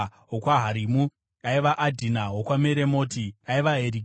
wokwaHarimu, aiva Adhina; wokwaMeremoti, aiva Herikai;